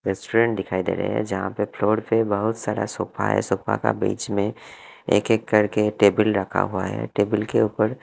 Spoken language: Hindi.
रेस्टोरेंट दिखाई दे रहे हैं जहां पे फ्लोर पे बहुत सारा सोफा हैं सोफा का बीच में एक एक करके टेबिल रखा हुआ है टेबिल के ऊपर--